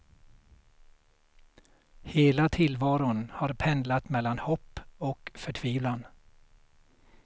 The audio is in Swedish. Hela tillvaron har pendlat mellan hopp och förtvivlan.